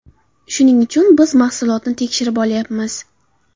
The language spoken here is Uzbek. Shuning uchun biz mahsulotni tekshirib olyapmiz.